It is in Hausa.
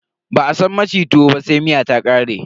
Ba a san maci tuwo ba sai miya ta ƙare.